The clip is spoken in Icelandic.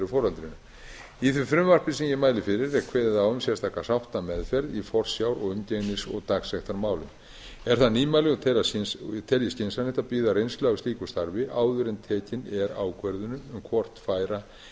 í því frumvarpi sem ég mæli fyrir er kveðið á um sérstaka sáttameðferð í forsjár umgengnis og dagsektarmálum er það nýmæli og tel a skynsamlegt að bíða reynslu af slíku starfi áður en tekin er ákvörðun um hvort færa